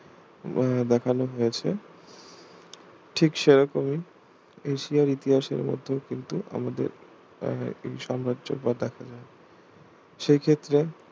আহ দেখানো হয়েছে ঠিক সেরকমই এশিয়ার ইতিহাসের মত কিন্তু আমাদের আহ এই সাম্রাজ্যর পথ দেখা যায় সেই ক্ষেত্রে